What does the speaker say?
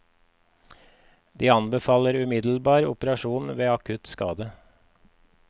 De anbefaler umiddelbar operasjon ved akutt skade.